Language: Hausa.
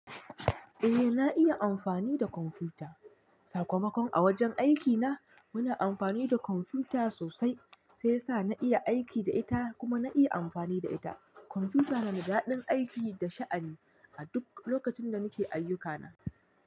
Eh, na iya amfani da kwamfuta. Sakamakon a wajen aikina, muna amfani da kwamfuta sosai, sai sa na iya aiki da ita kuma na iya amfani da ita. Kwamfuta na da daɗin aiki da sha'ani a duk lokacin da nake ayyukana.